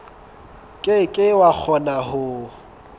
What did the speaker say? ke ke wa kgona ho